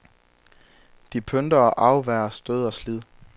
De pynter og afværger stød og slid.